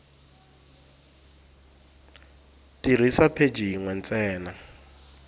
tirhisa pheji yin we ntsena